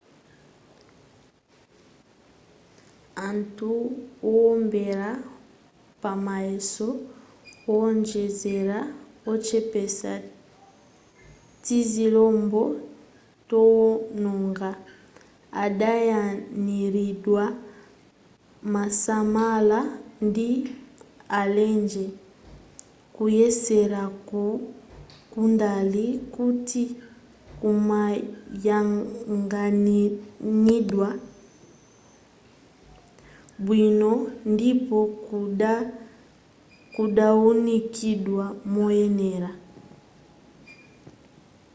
anthu owombera pamayeso owonjezera ochepesa tizilombo towononga adayang'aniridwa mosamala ndi alenje kuyeseraku kudali koti kumayang'aniridwa bwino ndipo kudawunikidwa moyenera